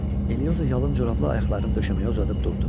Elioza yalın corablı ayaqlarını döşəməyə uzadıb durdu.